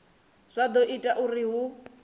zwa do ita uri hu